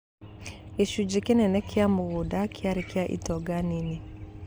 Gĩcunjĩ kĩnene kĩa mũgũnda kĩarĩ kĩa itonga nini,